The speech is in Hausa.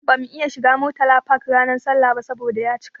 Bamu iya shiga Murtala Park ranar sallah ba saboda ya cika.